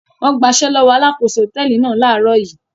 Wọ́n gbaṣẹ́ lọ́wọ́ alákòóso hòtẹ́ẹ́lì náà láàárọ̀ yìí.